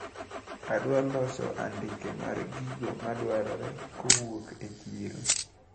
Adwaro loso andike mar gigo madwarore kowuok e chiro.